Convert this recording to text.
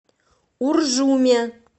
уржуме